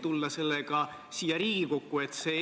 Tookord oli eeldus ikkagi see, et kõigi sihtgruppidega on suheldud.